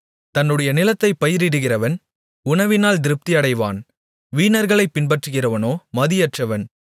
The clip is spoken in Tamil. தன்னுடைய நிலத்தைப் பயிரிடுகிறவன் உணவினால் திருப்தியடைவான் வீணர்களைப் பின்பற்றுகிறவனோ மதியற்றவன்